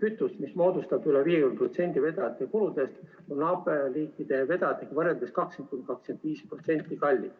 kütust, mis moodustab üle 50% vedajate kuludest, naaberriikide vedajatega võrreldes 20–25% kallim.